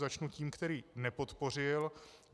Začnu tím, který nepodpořil.